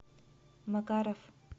макаров